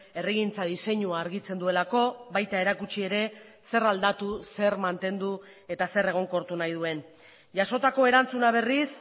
herrigintza diseinua argitzen duelako baita erakutsi ere zer aldatu zer mantendu eta zer egonkortu nahi duen jasotako erantzuna berriz